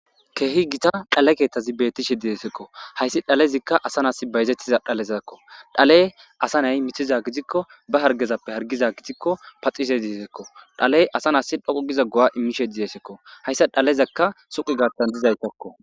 Keehi gita dhale keetazi bettishe de'esekko hayssi dhalezikka asanas bayzettiza dhalezakko dhaley asa nay mithiza gidikko ba hargezappe hargiza gitikko paxise diesekko dhaley asanas dhoqu giza go7a immishe diyesekko hayssa dhalezakka suqi gartan dizaytakko.